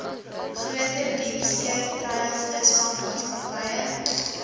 groter diepsee treilvisvangmaatskappye